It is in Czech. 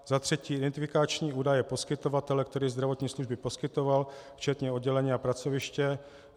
Za třetí identifikační údaje poskytovatele, který zdravotní služby poskytoval, včetně oddělení a pracoviště.